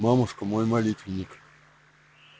мамушка мой молитвенник